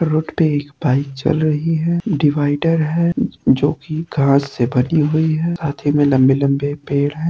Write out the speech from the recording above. Road पे एक bike चल रही है। डिवाइडर है जो कि घाँस से बनी हुई है साथ मे लंबे लंबे पेड़ है।